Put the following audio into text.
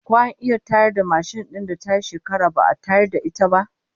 Ko an iya tayar da mashin din da tayi shekara ba'a tayar da ita ba?